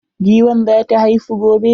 Giwan za ta haifu gobe.